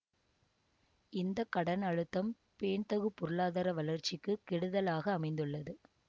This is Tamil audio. இந்த கடன் அழுத்தம் பேண்தகு பொருளாதார வளர்ச்சிக்கு கெடுதலாக அமைந்துள்ளது